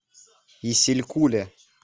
исилькуле